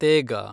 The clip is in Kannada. ತೇಗ